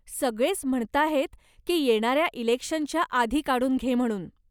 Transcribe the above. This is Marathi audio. सगळेच म्हणताहेत की येणाऱ्या इलेक्शनच्या आधी काढून घे म्हणून.